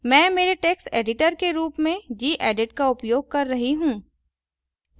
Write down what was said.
मैं मेरे text editor के रूप में gedit का उपयोग कर रहा हूँ